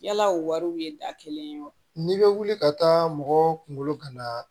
Yala o wariw ye da kelen ye wa n'i bɛ wuli ka taa mɔgɔ kunkolo gana